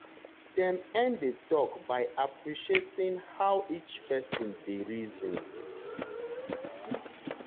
dem end the talk by appreciating how each person dey reason.